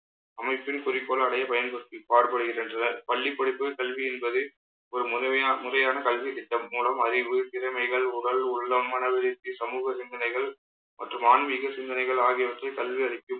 அமைப்பின் குறிக்கோள் அடைய பயன்படுத்தி பாடுபடுகின்றனர். பள்ளிப்படிப்பு கல்வி என்பது, ஒரு முழுமைய~ முறையான கல்வித் திட்டம் மூலம் அறிவு திறமைகள் உடல் உள்ளம் மனவருத்தி, சமூக சிந்தனைகள் மற்றும் ஆன்மீக சிந்தனைகள் ஆகியவற்றை கல்வி அளிக்கும்